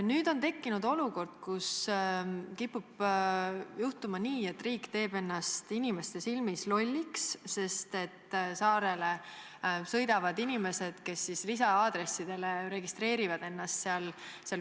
Nüüd on tekkinud olukord, kus kipub minema nii, et riik teeb ennast inimeste silmis lolliks, sest saartele sõidavad inimesed, kes registreerivad seal nn lisa-aadressi.